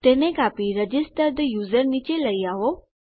તેને કાપી register the user નીચે લઇ આવો